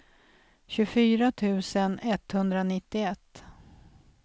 tjugofyra tusen etthundranittioett